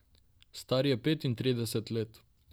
Star je petintrideset let.